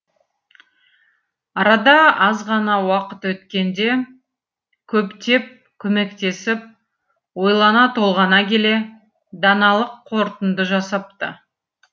арада азғана уақыт өткенде көптеп көмектесіп ойлана толғана келе даналық қорытынды жасапты